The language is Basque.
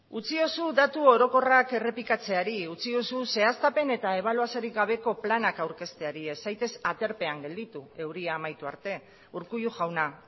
utziozu datu orokorrak errepikatzeari utziozu zehaztapen eta ebaluaziorik gabeko planak aurkezteari ez zaitez aterpean gelditu euria amaitu arte urkullu jauna